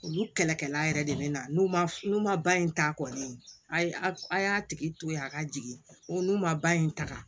Olu kɛlɛkɛla yɛrɛ de bɛ na n'u ma n'u ma ba in ta kɔni a ye a y'a tigi to yen a ka jigin n'u ma ba in ta